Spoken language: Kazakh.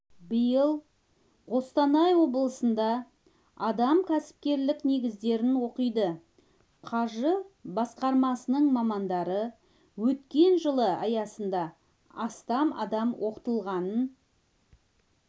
биыл қостанай облысында адам кәсіпкерлік негіздерін оқиды қаржы басқармасының мамандары өткен жылы аясында астам адам оқытылғанын